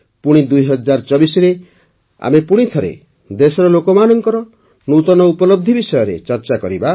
ପୁଣି ୨୦୨୪ରେ ଆମେ ପୁଣିଥରେ ଦେଶର ଲୋକମାନଙ୍କ ନୂତନ ଉପଲବଧି ବିଷୟରେ ଚର୍ଚ୍ଚା କରିବା